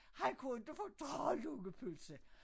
Han kunne inte fordrage lungepølse